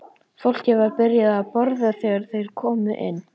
Fólkið var byrjað að borða þegar þeir komu inn.